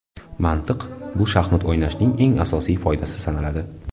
Mantiq Bu shaxmat o‘ynashning eng asosiy foydasi sanaladi.